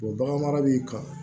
bagan mara b'i kan